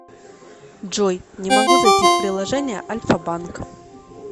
джой не могу зайти в приложение альфа банк